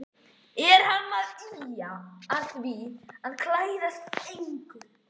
Er hann að ýja að því að ég klæðist engu?